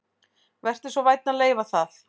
Vertu svo vænn að leyfa það